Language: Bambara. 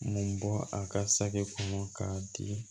Mun bɔ a ka sake kɔnɔ k'a di